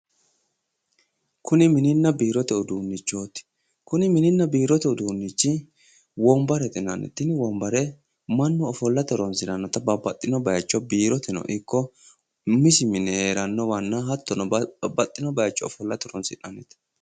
Kuni mininna biirote uduunnichooti. Kuni mininba biirote uduunnichi wombarete yinanni tini wombare mannu umisi mine hattono babbaxxino biiroteno ikko umisi mine heerannowanna hattono biirote ofollate horonsi'nanni.